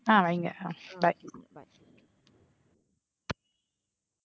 அஹ் வைங்க அஹ் bye.